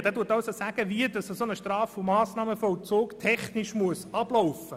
Er zeigt also auf, wie ein Straf- und Massnahmenvollzug technisch ablaufen muss.